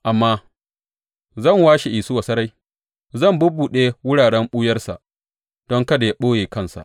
Amma zan washe Isuwa sarai; zan bubbuɗe wuraren ɓuyarsa, don kada yă ɓoye kansa.